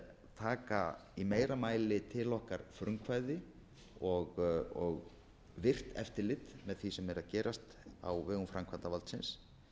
taka í meira mæli til okkar frumkvæði og virt eftirlit með sem er að gerast á vegum framkvæmdarvaldsins